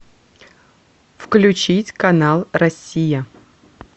включить канал россия